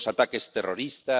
los ataques terroristas